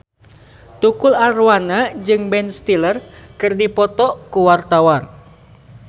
Tukul Arwana jeung Ben Stiller keur dipoto ku wartawan